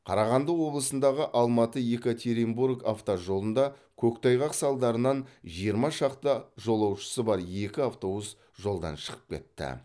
қарағанды облысындағы алматы екатеринбург автожолында көктайғақ салдарынан жиырма шақты жолаушысы бар екі автобус жолдан шығып кетті